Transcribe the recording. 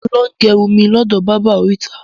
Mo ń lọ gẹrun mi lọ́dọ̀ báábà orita